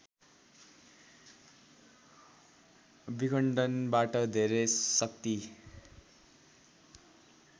विखण्डनबाट धेरै शाक्ति